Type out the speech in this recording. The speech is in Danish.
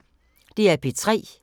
DR P3